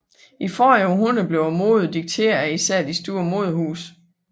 I forrige århundrede blev moden dikteret af især de store modehuse